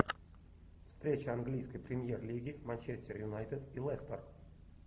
встреча английской премьер лиги манчестер юнайтед и лестер